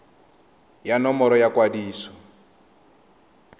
ya nomoro ya kwadiso ya